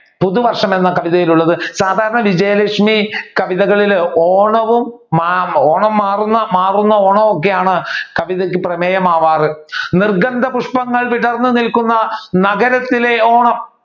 വിജയലക്ഷ്മിയുടെ പുതുവർഷം എന്ന കവിതയിൽ ഉള്ളത് സാധാരണ വിജയലക്ഷ്മി കവിതകളിൽ ഓണവും ഓണം മാറുന്ന ഓണവും ഒക്കെയാണ് കവിതയ്ക്ക് പ്രമേയമാവാർ നിർഗന്ധ പുഷ്പങ്ങൾ വിടർന്നു നിൽക്കുന്ന നഗരത്തിലെ ഓണം.